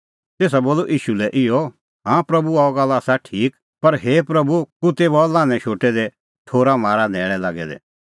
तेसा बोलअ ईशू लै इहअ हाँ प्रभू अह गल्ल आसा ठीक पर हे प्रभू कुत्तै बी हआ लान्हैं खोल़ै शोटै दै ठोर म्हारा न्हैल़ै लागै दै